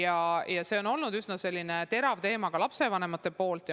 Aga see on olnud üsna terav teema lapsevanemate jaoks.